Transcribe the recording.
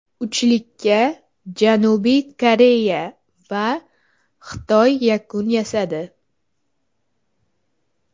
Uchlikka Janubiy Koreya va Xitoy yakun yasadi.